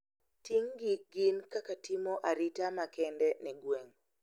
Ting`gi gin kaka timo arita makende ne gweng`